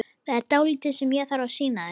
Það er dálítið sem ég þarf að sýna þér hérna!